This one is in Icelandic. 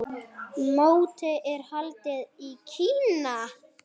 Mótið er haldið í Kína.